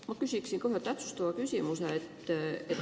Ma küsin ühe täpsustava küsimuse.